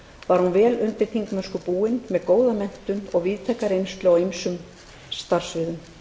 var hún vel undir þingmennsku búin með góða menntun og víðtæka reynslu á ýmsum starfssviðum